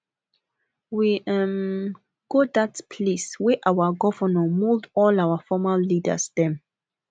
we um go dat place wey our governor mould all our former leaders dem